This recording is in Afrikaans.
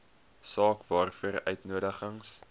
saak waaroor uitnodigings